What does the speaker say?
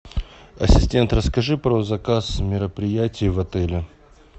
ассистент расскажи про заказ мероприятий в отеле